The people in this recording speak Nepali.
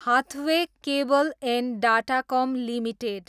Hathaway cable and Datacom limited